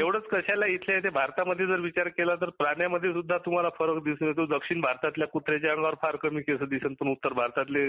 अवढच कशाला इथल्या इथे भारतामध्ये सुधा प्राण्यान मध्ये सुधा फरक दिसून येतो दक्षिण भारतातल्या कुत्र्याच्या आंगावर फार कमी केस दिसल पण उत्तर भारतातले